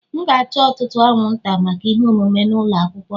M ga-achọ ọtụtụ anwụnta maka ihe omume n'ụlọ akwụkwọ m